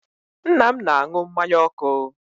Nna m na-anụ mmanya ọkụ.